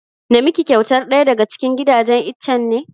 Na miki kyautar ɗaya daga cikin gidajen itchen ne?